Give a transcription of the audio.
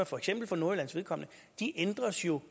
for eksempel nordjyllands vedkommende ændres jo